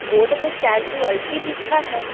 Board में casualty लिखा है।